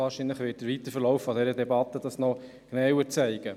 Wahrscheinlich wird sich dies im weiteren Verlauf der Debatte zeigen.